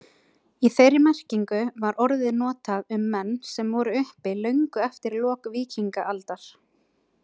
Í þeirri merkingu var orðið notað um menn sem voru uppi löngu eftir lok víkingaaldar.